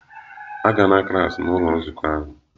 Agala klas n'ụlọ nzukọ ahụ!